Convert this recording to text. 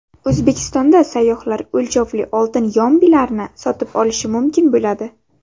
O‘zbekistonda sayyohlar o‘lchovli oltin yombilarni sotib olishi mumkin bo‘ladi.